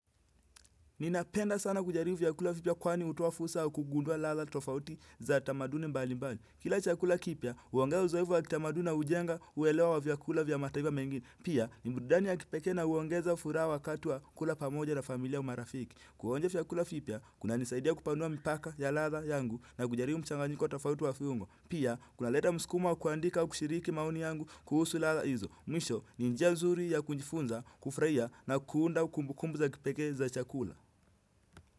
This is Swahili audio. Ninapenda sana kujaribu vyakula vipya kwani utoa fusa wa kugundua ladha tofauti za tamaduni mbalimbali. Kila chakula kipya, uongea uzoevu wa kitamaduni na ujenga uelewa wa vyakula vya mataiva mengine. Pia, ni burdani ya kipeke na uongeza furaha wakati wa kula pamoja na familia au marafiki. Kuonja vyakula vipia, kunanisaidia kupanua mipaka ya ladha yangu na kujaribu mchanganyiko tofauti wa fiungo. Pia, kunaleta msukumo wa kuandika au kushiriki maoni yangu kuhusu ladha hizo. Mwisho, ni njia nzuri ya kunjifunza, kufuraia na kuunda kumbukumbu za kipekee za chakula.